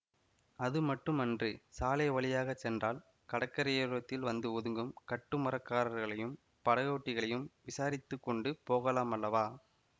அது மட்டும் அன்று சாலை வழியாக சென்றால் கடற்கரையோரத்தில் வந்து ஒதுங்கும் கட்டுமரக்காரர்களையும் படகோட்டிகளையும் விசாரித்துக்கொண்டு போகலாம் அல்லவா